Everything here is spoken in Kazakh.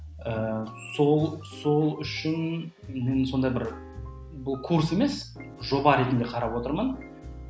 ііі сол сол үшін мен сондай бір бұл курс емес жоба ретінде қарап отырмын